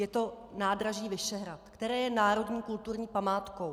Je to nádraží Vyšehrad, které je národní kulturní památkou.